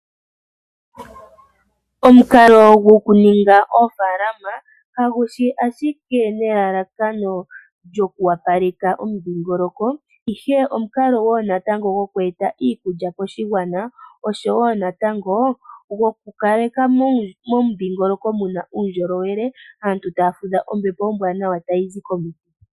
Omukalo gokuninga oofaalama kaguli ashike nelalakano lyoku opaleka omudhingoloko ihe omukalo wo natango goku e ta iikulya koshigwana oshowo natango goku kaleka momudhingoloko muna uundjolowele, aantu taya fudha ombepo ombwaanawa tayi zi komiti.